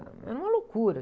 Era uma loucura.